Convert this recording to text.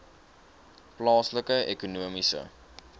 plaaslike ekonomiese